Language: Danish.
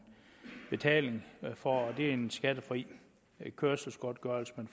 betaling for og det er en skattefri kørselsgodtgørelse man